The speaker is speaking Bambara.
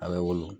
A bɛ wolo